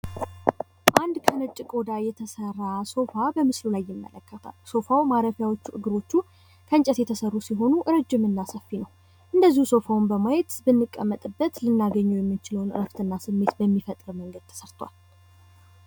አንድ ከነጭ ቆዳ የተሰራ ሶፋ በምስሉ ላይ ይመለከታል። ሶፋው ማረፊያዎቹ እግሮቹ ከእንጨት የተሰሩ ሲሆኑ ረጅም እና ሰፊ ነው። አንደዚሁ ሶፋውን ስናየው ብንቀመጥበት ልናገኘው የምንችለው ዕረፍት እና ስሜት በሚፈጥር መንገድ ተሰርቷል።